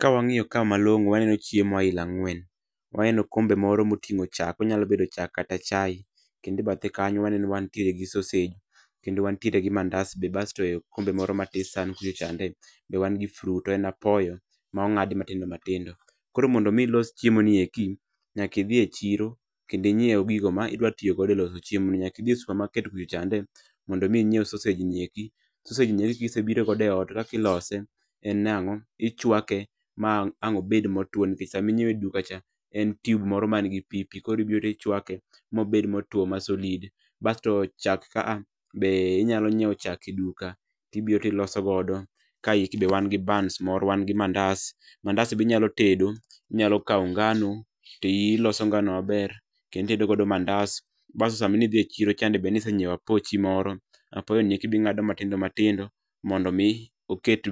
Ka wang'iyo ka malong'o waneno chiemo aila ang'wen. Waneno okombe moro moting'o chak, onyalo bedo chak kata chai, kendo e bathe kanyo waneno wantiere gi sosej, kendo wantiere gi mandas be basto e okombe moro matis san kucho chande be wan gi fruit to en apoyo, ma ong'adi matindo matindo. Koro mondo mi ilos chiemo ni eki, nyaki idhi e chiro, kendi inyiew gigo ma idwa tiyo godo e loso chiemoni. Nyaki idhi e supamaket kucho chande, mondo mi inyiew sosej ni eki. Sosej ni eki kisebiro godo e ot, to kaki ilose en nang'o, ichwake ma ang' obed motwo nikech saminyiewe e duka cha, en tube moro man gi pii pii koro ibiro ichwake mobed motwo ma solid. Basto chak ka a, be inyalo nyiew chak e duka, tibiro tiloso godo. Kayeki be wan gi bans moro wan gi mandas, mandas no binyalo tedo, inyalo kaw ngano, ti iloso ngano maber kendo itedo godo mandas. Basto sama nidhi e chiro cha be nisenyiew apochi moro, apoyoni eki be ing'ado matindo matindo, mondo mi oket